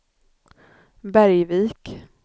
Bergvik